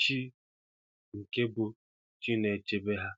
chi nke bụ chi na-echebe ha.